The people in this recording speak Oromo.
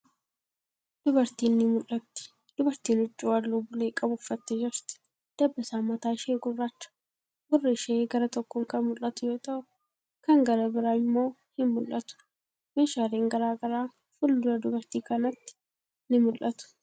Dubartiin ni mul'atti. Dubartiin huccuu haalluu bulee qabu uffattee jirti. Dabbasaan mataa ishee gurraacha. Gurri ishee gara tokkoon kan mul'atu yoo ta'u, kan gara biraa immoo hin mul'atu. Meeshaalen garagaraa fuuldura dubartii kanaatti ni mul'atu.